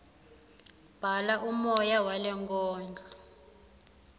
bhala umoya walenkondlo